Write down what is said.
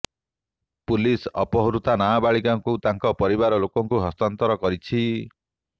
police ଅପହୃତା ନାବାଳିକାଙ୍କୁ ତାଙ୍କ ପରିବାର ଲୋକଙ୍କୁ ହସ୍ତାନ୍ତର କରିଛି